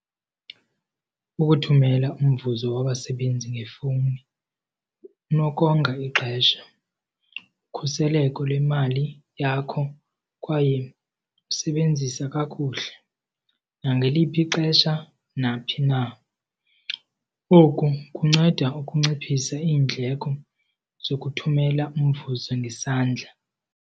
Ukuthumela umvuzo wabasebenzi ngefowuni kunokonga ixesha, ukhuseleko lwemali yakho kwaye usebenzisa kakuhle nangeliphi ixesha naphi na. Oku kunceda ukunciphisa iindleko zokuthumela umvuzo ngesandla.